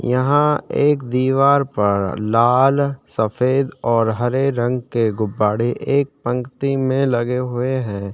यहाँ एक दीवार पर लाल सफ़ेद और हरे रंग के गुब्बारे एक पंक्ति में लगे हुए है।